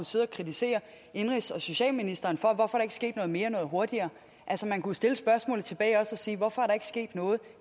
sidde og kritisere indenrigs og socialministeren for hvorfor ikke sket noget mere noget hurtigere man kunne stille spørgsmålet tilbage og sige hvorfor er der ikke sket noget